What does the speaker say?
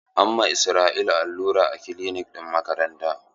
An ma Israel allura a kilinik ɗin makaranta.